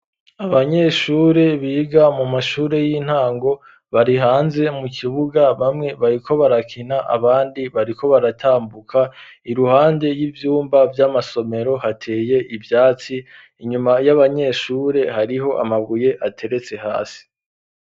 Abanyeshure biga mu mashure y'intango, bari hanze mu kibuga bamwe bariko barakina, abandi bariko baratambuka, iruhande y'ivyumba vy'amasomero, hateye ivyatsi, inyuma y'abanyeshure hariho amabuye ateretse hasi.